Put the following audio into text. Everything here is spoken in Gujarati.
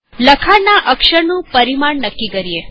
ચાલો લખાણના અક્ષર નું પરિમાણ નક્કી કરીએ